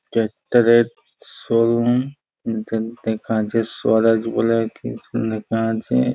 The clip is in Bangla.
ট্র্যাক্টর -এর শোরুম স্বরাজ বলে লেখা আছে।